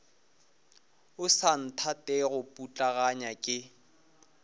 o sa nthatego putlaganya ke